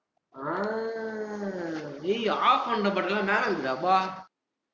ஆஹ் டேய் off பண்ண button லா மேல இருக்குதுடா அப்பா